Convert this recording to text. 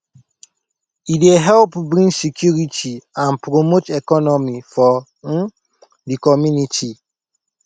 e dey help bring security and promote economy for um de community